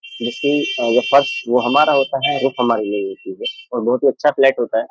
जिसकी जो फर्स वो हमारा होता है रूफ हमारी नहीं होती है और बहुत ही अच्छा फ्लैट होता है।